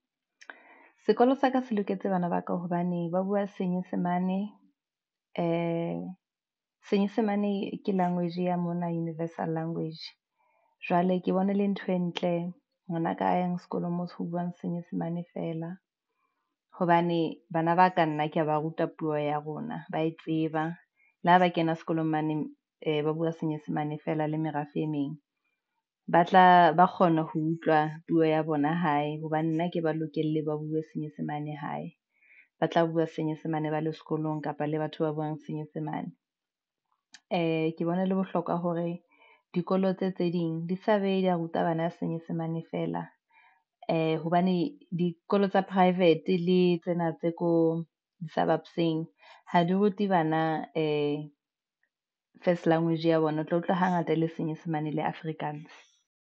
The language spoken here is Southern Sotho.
Sekolong sa ka se loketse bana ba ka hobane ba bua senyesemane senyesemane ke language ya mona universal language. Jwale ke bone le ntho e ntle ngwanaka yang sekolong moo se buang senyesemane fela hobane bana ba ka nna kea ba ruta puo ya rona ba e tseba le ho ba kena sekolong mane ba bua senyesemane fela le merafe, emeng. ba kgona ho utlwa puo ya bona hae hobane nna ke ba lokele ba bue senyesemane hae ba tla bua senyesemane ba le sekolong kapa le batho ba buang senyesemane. Ee, ke bona ho le bohlokwa hore dikolo tse tse ding di sa be di a ruta bana ba senyesemane fela hobane dikolo tsa private le tsena tse ko di suburbs-eng ha di rute bana first language ya bona, o tla utlwa hangata le senyesemane le Afrikaans.